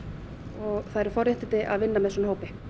og það eru forréttindi að vinna með svona hópi